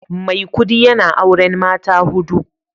Maikudi yana auren mata hudu